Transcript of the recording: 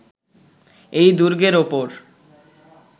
এই দুর্গের ওপর